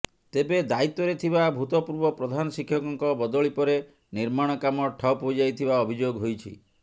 ତେବେ ଦାୟିତ୍ୱରେ ଥିବା ଭୂତପୂର୍ବ ପ୍ରଧାନ ଶିକ୍ଷକଙ୍କ ବଦଳି ପରେ ନିର୍ମାଣ କାମ ଠପ୍ ହୋଇଯାଇଥିବା ଅଭିଯୋଗ ହୋଇଛି